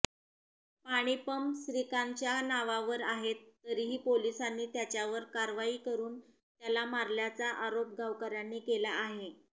पाणीपंप श्रीकांतच्या नावावर आहेत तरीही पोलिसांनी त्याच्यावर कारवाई करुन त्याला मारल्याचा आरोप गावकऱ्यांनी केला आहे